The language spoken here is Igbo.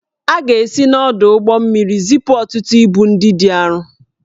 A ga-esi n'ọdụ ụgbọ mmiri zipụ ọtụtụ ibu ndị dị arọ